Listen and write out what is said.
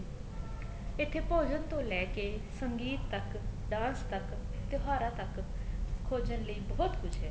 ਇੱਥੇ ਭੋਜਨ ਤੋਂ ਲੈਕੇ ਸੰਗੀਤ ਤੱਕ dance ਤੱਕ ਤਿਉਹਾਰਾ ਤੱਕ ਖੋਜਣ ਲਈ ਬਹੁਤ ਕੁੱਝ ਹੈ